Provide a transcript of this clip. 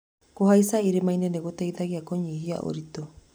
Kũhaica irĩma-inĩ nĩ gũteithagia kũnyihia ũritũ.